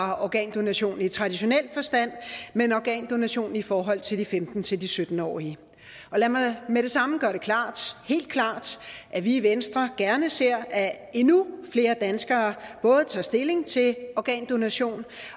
bare organdonation i traditionel forstand men organdonation i forhold til de femten til sytten årige lad mig med det samme gøre det klart helt klart at vi i venstre gerne ser at endnu flere danskere tager stilling til organdonation